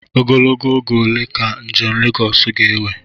Ogologo oge ole ka njem Lagọọsu ga-ewe?